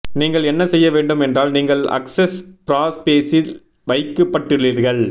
நீங்கள் என்ன செய்ய வேண்டும் என்றால் நீங்கள் அக்செஸ் ப்ராபேசில் வைக்கப்பட்டுள்ளீர்கள்